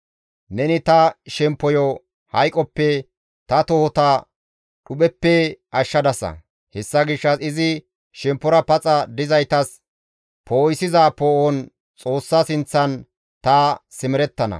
Neni ta shemppoyo hayqoppe ta tohota dhupheppe ashshadasa. Hessa gishshas izi shemppora paxa dizaytas poo7isiza poo7on Xoossa sinththan ta simerettana.